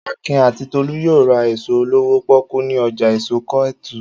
Akin àti Tolú yóò ra èso olówó pọ́kú ní ọjà èso Kétu.